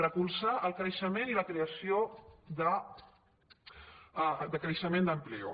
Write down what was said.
recolzar el creixement i la creació de creixement d’ocu·pació